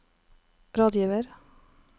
rådgiver